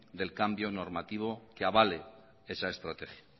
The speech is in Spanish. del cambio normativo que avale esa estrategia